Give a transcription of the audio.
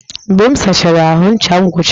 Mgbe m sachara ahụ, ncha m gwụchara